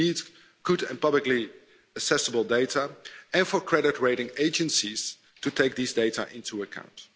We need good and publicly accessible data and for credit rating agencies to take these data into account.